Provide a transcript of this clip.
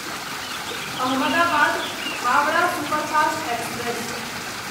Ahmedabad Howrah superfast express